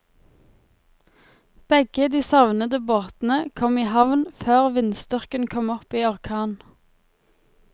Begge de savnede båtene kom i havn før vindstyrken kom opp i orkan.